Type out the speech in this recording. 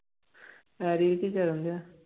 Harry ਕੀ ਕਰਨਡਿਆ?